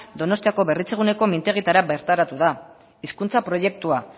donostiako berritzeguneko mintegietara bertaratu da hizkuntza proiektua